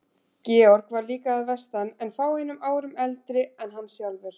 Georg var líka að vestan en fáeinum árum eldri en hann sjálfur.